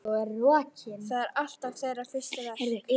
Það er alltaf þeirra fyrsta verk.